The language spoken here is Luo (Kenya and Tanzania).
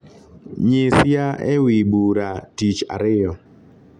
nyisia ewi bura tich ariyo